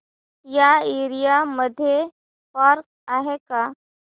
या एरिया मध्ये पार्क आहे का